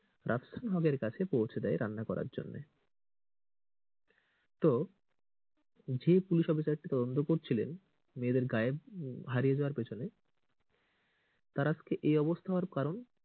রাফসান হকের কাছে পৌঁছে দেয় রান্না করার জন্য তো যে পুলিশ অফিসার টি তদন্ত করছিলেন মেয়েদের গায়েব হারিয়ে যাওয়ার পিছনে তার এই অবস্থা হওয়ার কারণ,